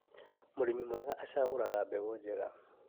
Mũrĩmi mwega acagũraga mbegũ njega